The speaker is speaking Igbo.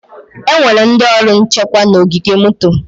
Enwere ndị ọrụ nchekwa na ogige moto.